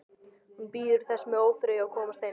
Hún bíður þess með óþreyju að komast heim.